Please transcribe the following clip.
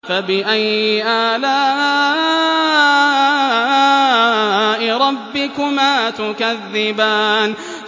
فَبِأَيِّ آلَاءِ رَبِّكُمَا تُكَذِّبَانِ